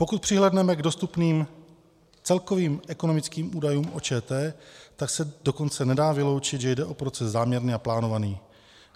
Pokud přihlédneme k dostupným celkovým ekonomickým údajům o ČT, tak se dokonce nedá vyloučit, že jde o proces záměrný a plánovaný.